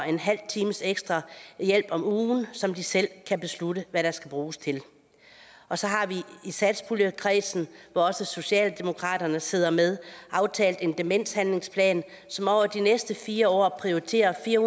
en halv times ekstra hjælp om ugen som de selv kan beslutte hvad skal bruges til og så har vi i satspuljekredsen hvor også socialdemokratiet sidder med aftalt en demenshandlingsplan som over de næste fire år prioriterer fire